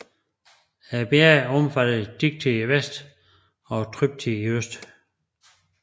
Bjergene omfatter Dikti i vest og Thrypti i øst